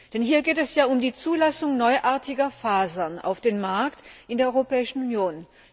Denn hier geht es ja um die Zulassung neuartiger Fasern auf dem Markt in der Europäischen Union.